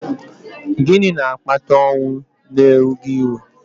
gịnị na-akpata ọnwụ n'erughị eru?